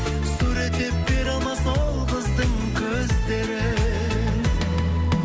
суреттеп бере алмас ол қыздың көздерін